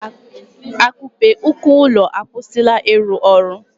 Akupe uko ụlọ akwụsịla ịrụ ọrụ